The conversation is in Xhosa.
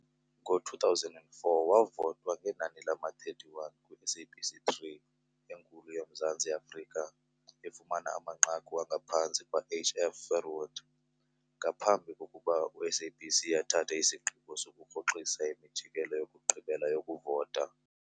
Ngo-2004, wavotwa ngenani lama-31 kwi-SABC3 enkulu yoMzantsi Afrika, efumana amanqaku angaphantsi kwaH. F. Verwoerd, ngaphambi kokuba uSABC athathe isigqibo sokurhoxisa imijikelezo yokugqibela yokuvota.